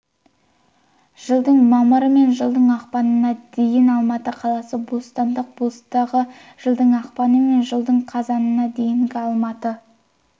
жылдың мамыры мен жылдың ақпанына дейін-алматы қаласы бостандық бастығы жылдың ақпаны мен жылдың қазанына дейін алматы